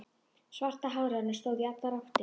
Svarta hárið á henni stóð í allar áttir.